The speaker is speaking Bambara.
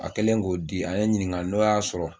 A kɛlen k'o di a ye ɲininka n'o y'a sɔrɔ